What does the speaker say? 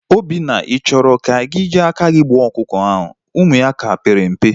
Obinna, I chọrọ i ji aka gị gbuo ọkụkọ ahụ? Ụmụ ya ka pere mpe